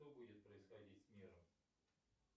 что будет происходить с миром